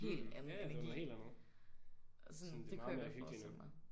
Mh ja ja det var noget helt andet. Sådan det er mere hyggeligt nu